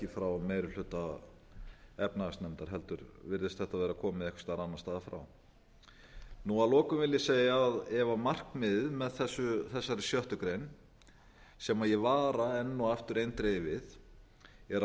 frá meiri hluta efnahagsnefndar heldur virðist þetta vera komið einhvers staðar annars staðar frá að lokum vil ég segja að ef markmiðið með þessari sjöttu grein sem ég vara enn og aftur eindregið við